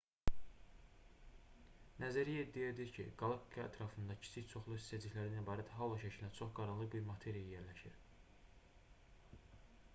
nəzəriyyə iddia edir ki qalaktika ətrafında kiçik çoxlu hissəciklərdən ibarət halo şəklində çox qaranlıq bir materiya yerləşir